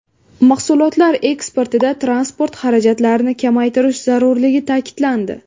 Mahsulotlar eksportida transport xarajatlarini kamaytirish zarurligi ta’kidlandi.